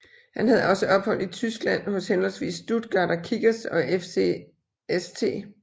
Han havde også ophold i Tyskland hos henholdsvis Stuttgarter Kickers og FC St